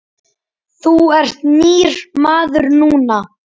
Þú ert nýr maður núna.